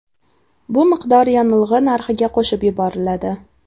Bu miqdor yonilg‘i narxiga qo‘shib yuboriladi.